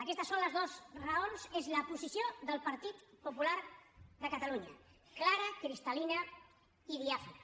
aquestes són les dues raons és la posició del partit popular de catalunya clara cristal·lina i diàfana